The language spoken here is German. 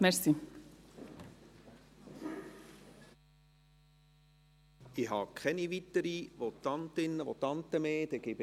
Ich habe keine weiteren Votantinnen und Votanten mehr auf der Liste.